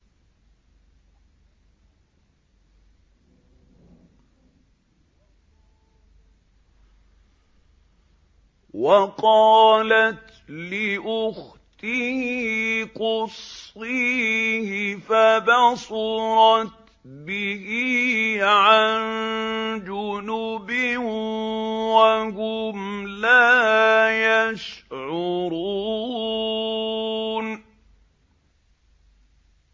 وَقَالَتْ لِأُخْتِهِ قُصِّيهِ ۖ فَبَصُرَتْ بِهِ عَن جُنُبٍ وَهُمْ لَا يَشْعُرُونَ